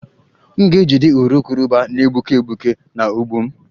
M ga-ejide urukurubụba na-egbuke egbuke na ụgbụ m